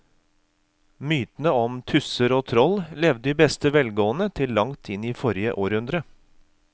Mytene om tusser og troll levde i beste velgående til langt inn i forrige århundre.